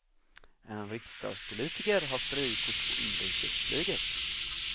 En riksdagspolitiker har frikort på inrikesflyget.